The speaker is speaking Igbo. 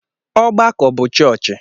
Ọgbakọ bụ chọọchị.